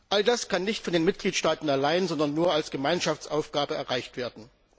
All das kann nicht von den Mitgliedstaaten allein, sondern nur als Gemeinschaftsaufgabe erreicht werden.